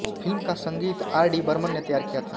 film का संगीत R D Burman ने तैयार किया था